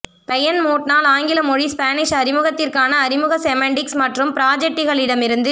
Brian மோட்னால் ஆங்கில மொழி ஸ்பானிஷ் அறிமுகத்திற்கான அறிமுக செமண்டிக்ஸ் மற்றும் ப்ராஜெட்டிகளிடமிருந்து